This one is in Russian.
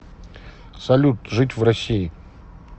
салют жить в россии